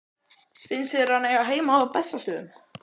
Finnst þér hann eiga heima á Bessastöðum?